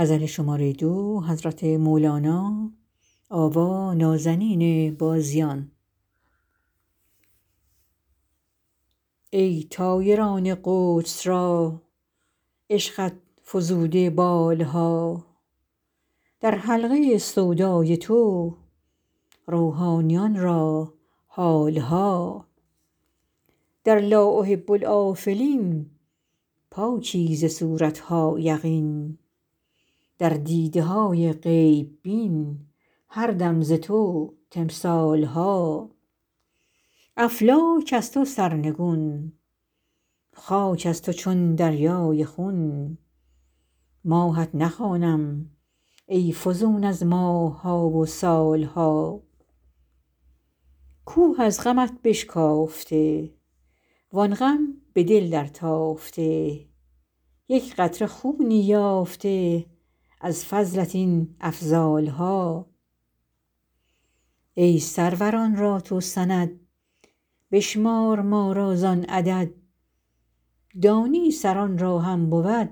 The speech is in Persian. ای طایران قدس را عشقت فزوده بال ها در حلقه سودای تو روحانیان را حال ها در لا احب الآفلین پاکی ز صورت ها یقین در دیده های غیب بین هر دم ز تو تمثال ها افلاک از تو سرنگون خاک از تو چون دریای خون ماهت نخوانم ای فزون از ماه ها و سال ها کوه از غمت بشکافته وان غم به دل درتافته یک قطره خونی یافته از فضلت این افضال ها ای سروران را تو سند بشمار ما را زان عدد دانی سران را هم بود